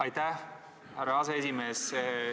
Aitäh, härra aseesimees!